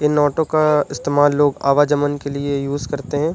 इन auto का इस्तेमाल लोग आवाजमन के लिए यूज़ करते हैं।